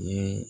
Ni